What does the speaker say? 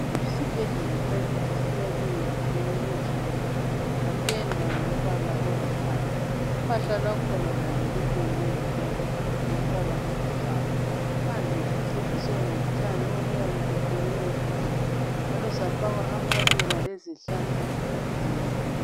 Isibhedlela sakithi siyakhwe ngezitina ezibomvu. Sapendwa ngombala olithanga. Uphahla lwakhona lalo lupendwe ngombala o o ngombala olithanga. Phandle siceciswe ngotshani obuyabe buqunywe kuhle njalo safakwa amaluba lezihlahla ezinengi.